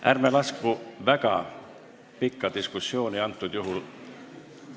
Ärme laskume väga pikka diskussiooni!